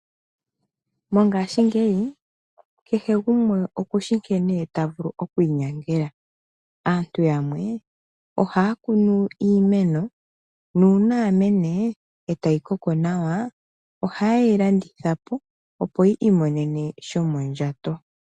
Mongashingeyi kehe gumwe okushi nkene ta vulu oku inyangela. Aantu yamwe ohaya kunu iimeno, nuuna ya mene e tayi koko nawa ohaye yi landitha po, opo yi imonene shomondjato.